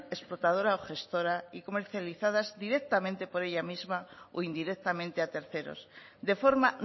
explotadora o gestora y comercializadas directamente por ella misma o indirectamente a terceros de forma